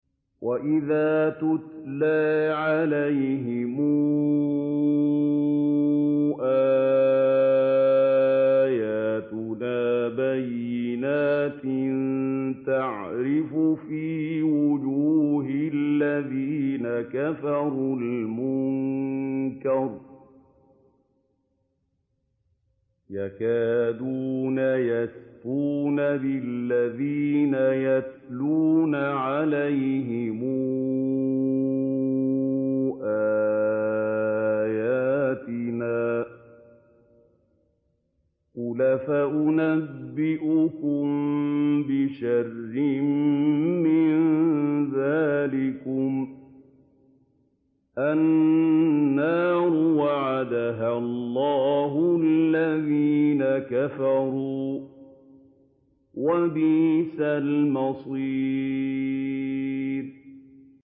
وَإِذَا تُتْلَىٰ عَلَيْهِمْ آيَاتُنَا بَيِّنَاتٍ تَعْرِفُ فِي وُجُوهِ الَّذِينَ كَفَرُوا الْمُنكَرَ ۖ يَكَادُونَ يَسْطُونَ بِالَّذِينَ يَتْلُونَ عَلَيْهِمْ آيَاتِنَا ۗ قُلْ أَفَأُنَبِّئُكُم بِشَرٍّ مِّن ذَٰلِكُمُ ۗ النَّارُ وَعَدَهَا اللَّهُ الَّذِينَ كَفَرُوا ۖ وَبِئْسَ الْمَصِيرُ